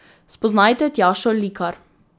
Spoznajte Tjašo Likar.